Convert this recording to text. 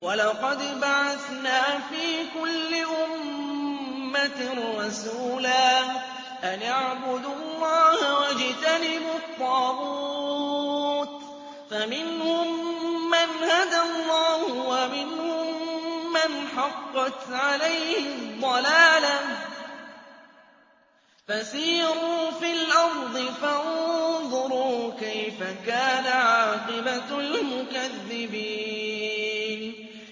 وَلَقَدْ بَعَثْنَا فِي كُلِّ أُمَّةٍ رَّسُولًا أَنِ اعْبُدُوا اللَّهَ وَاجْتَنِبُوا الطَّاغُوتَ ۖ فَمِنْهُم مَّنْ هَدَى اللَّهُ وَمِنْهُم مَّنْ حَقَّتْ عَلَيْهِ الضَّلَالَةُ ۚ فَسِيرُوا فِي الْأَرْضِ فَانظُرُوا كَيْفَ كَانَ عَاقِبَةُ الْمُكَذِّبِينَ